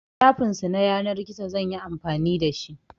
Shafin su na yanar gizo zan yi amfani da shi.